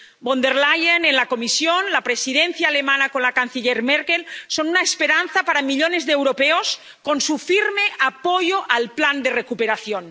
Von der Leyen, en la Comisión, la presidencia alemana, con la canciller Merkel, son una esperanza para millones de europeos por su firme apoyo al plan de recuperación.